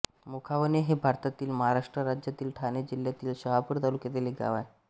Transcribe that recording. मोखावणे हे भारतातील महाराष्ट्र राज्यातील ठाणे जिल्ह्यातील शहापूर तालुक्यातील एक गाव आहे